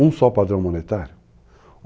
Um só padrão monetário?